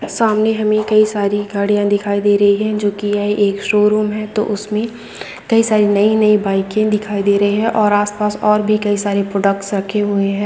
सामने हमें कई सारी गाड़िया दिखाई दे रही है जोकि शोरूम है तो उसमे कई सारे नए-नए बाइके दिखाई दे रही है और आस-पास और भी कई सारी प्रोडक्ट्स रखे हुए हैं।